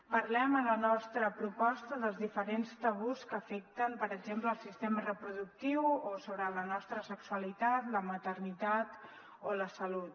parlem a la nostra proposta dels diferents tabús que afecten per exemple el sistema reproductiu o sobre la nostra sexualitat la maternitat o la salut